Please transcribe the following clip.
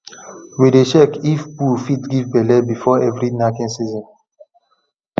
we dey check if bull fit give belle before every knacking season